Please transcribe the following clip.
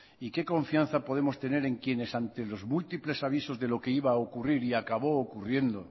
y qué confianza podemos tener en quienes ante los múltiples avisos de lo que iba a ocurrir y acabó ocurriendo